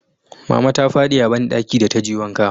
mama ta fadi a banɗaki da ta je wanka